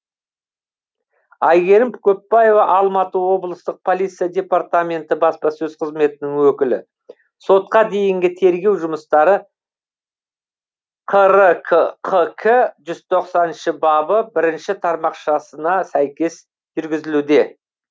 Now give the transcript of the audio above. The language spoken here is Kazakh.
әйгерім көппаева алматы облыстық полиция департаменті баспасөз қызметінің өкілі сотқа дейінгі тергеу жұмыстары қр кқк жүз тоқсаныншы бабы бірінші тармақшасына сәйкес жүргізілуде